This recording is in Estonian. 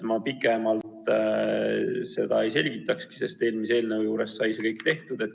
Ma pikemalt seda ei selgitakski, sest eelmise eelnõu käsitlemisel sai seda juba tehtud.